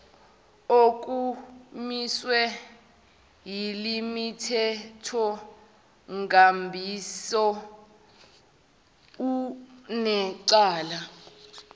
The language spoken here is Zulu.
okumiswe yilemithethonkambiso unecala